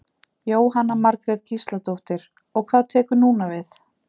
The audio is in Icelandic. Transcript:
Jóhanna Margrét Gísladóttir: Og hvað tekur núna við?